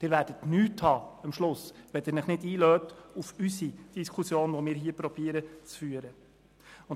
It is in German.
Sie werden am Schluss gar nichts haben, wenn Sie sich nicht auf unsere Diskussion einlassen, die wir hier zu führen versuchen.